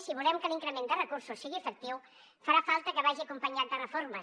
si volem que l’increment de recursos sigui efectiu farà falta que vagi acompanyat de reformes